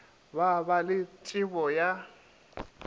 ba ba le tšebo ya